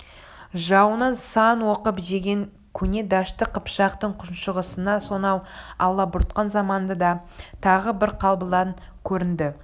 жауынан сан опық жеген көне дәшті қыпшақтың күншығысына сонау алабұртқан заманда тағы бір қабылан көрінді